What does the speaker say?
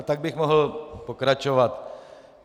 A tak bych mohl pokračovat.